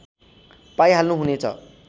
पाइहाल्नु हुनेछ